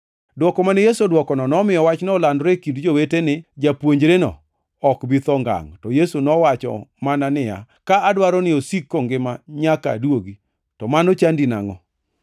Dwoko mane Yesu odwokono nomiyo wachno olandore e kind jowete ni japuonjreno ok bi tho ngangʼ, to Yesu to nowacho mana niya, “Ka adwaro ni osik kongima nyaka aduogi, to mano chandi nangʼo?”